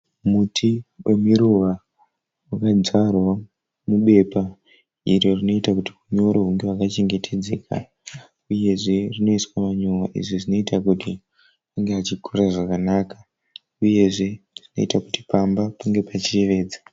Muti wemiruva unodzvarwa mubepa iro rinoita kuti unyoro hunge hwakachengetedzeka uyezve rinoiswa manyowa izvi zvinoita kuti unge uchikura zvakanaka uyezve unoita kuti pamba pange pachiyevedza.